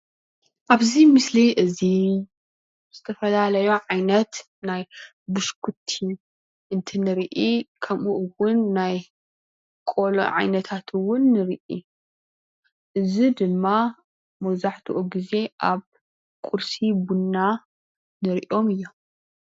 ኣብዚ ምስሊ እዚ ዝተፈላለዩ ዓይነት ናይ ብሽኩቲ እንትንርኢ ከምኡ እውን ናይ ቆሎ ዓይነታት እውን ንርኢ። እዚ ድማ መብዛሕትኡ ግዜ ኣብ ቁርሲ ቡና ንሪኦም እዮም።